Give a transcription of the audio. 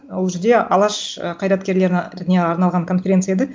ол жерде алаш і қайраткерлеріне арналаған конференция еді